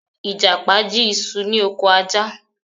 Ìjàpá jí isu ni ọkọ̀ Ajá